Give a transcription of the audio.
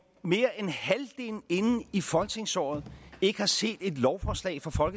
mere end halvdelen inde i folketingsåret ikke har set et lovforslag fra fra